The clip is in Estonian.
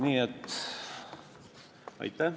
Aitäh!